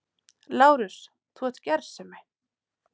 LÁRUS: Þú ert gersemi!